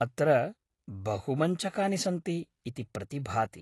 अत्र बहुमञ्चकानि सन्ति इति प्रतिभाति ।